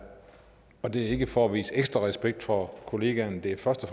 ikke for at vise ekstra respekt for kollegaen det er først